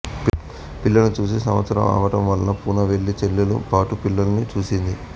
పిల్లల్ని చూసి సంవత్సరం అవటంవల్ల పూనా వెళ్ళి చెల్లెలుతో పాటు పిల్లల్ని చూసింది